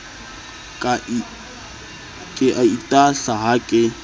ke a itahla ha ke